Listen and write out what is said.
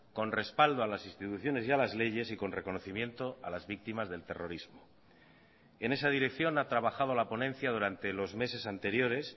con respaldo a las instituciones y a las leyes y con reconocimiento a las víctimas del terrorismo en esa dirección ha trabajado la ponencia durante los meses anteriores